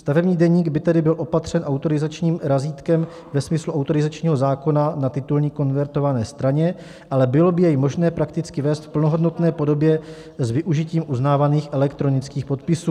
Stavební deník by tedy byl opatřen autorizačním razítkem ve smyslu autorizačního zákona na titulní konvertované straně, ale bylo by jej možné prakticky vést v plnohodnotné podobě s využitím uznávaných elektronických podpisů.